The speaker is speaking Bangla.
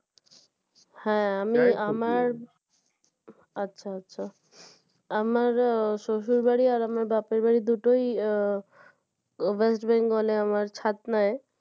হ্যাঁ আমি আচ্ছা আচ্ছা আমার শ্বশুরবাড়ি আর আমার বাপের বাড়ি দুটোই West Bengal এ আমার ছাতনায়